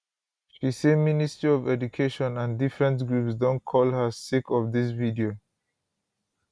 she say ministry of education and different groups don call her sake of dis video